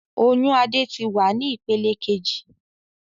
Oyún Adé tí wá ní ìpele kejì